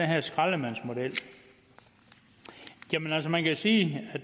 her skraldemandsmodel jamen altså man kan sige at